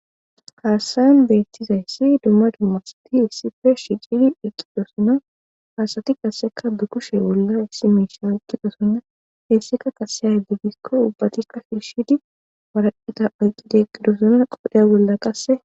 Haasayan beettizayssi dumma dummasti issife shicidi eqqidosona haasati qasseka bikushe wolla issi miisha eqqidosonna heessika kaseya di gikko ubbatikka fhiishidi waraqeta oyqqide qidosona qodhe bolla qasse.